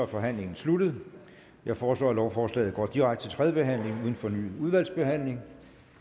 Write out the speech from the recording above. forhandlingen sluttet jeg foreslår at lovforslaget går direkte til tredje behandling uden fornyet udvalgsbehandling